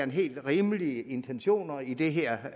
helt rimelige intentioner i det her